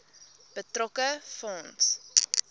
betrokke fonds